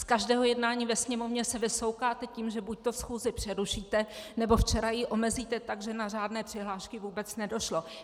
Z každého jednání ve Sněmovně se vysoukáte tím, že buďto schůzi přerušíte, nebo včera ji omezíte tak, že na řádné přihlášky vůbec nedošlo.